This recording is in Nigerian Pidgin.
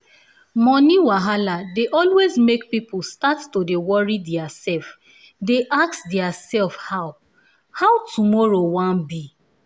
moni wahala dey always make people start to dey wori diaa self dey ask dia self how how 2moro wan be